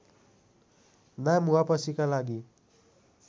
नाम वापसीका लागि